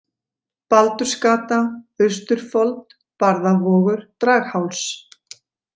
Baldursgata, Austurfold, Barðavogur, Dragháls